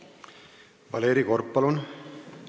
Valeri Korb, palun!